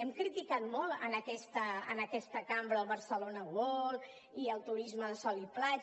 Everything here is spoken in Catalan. hem criticat molt en aquesta cambra el barcelona world i el turisme de sol i platja